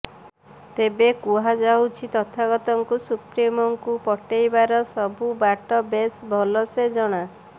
ତେବେ କୁହାଯାଉଛି ତଥାଗତଙ୍କୁ ସୁପ୍ରିମୋଙ୍କୁ ପଟେଇବାର ସବୁ ବାଟ ବେଶ ଭଲସେ ଜଣା